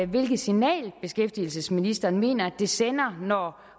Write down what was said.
hvilket signal beskæftigelsesministeren mener det sender når